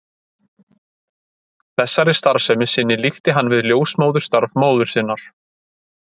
Þessari starfsemi sinni líkti hann við ljósmóðurstarf móður sinnar.